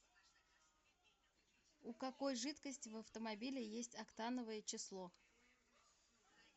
у какой жидкости в автомобиле есть октановое число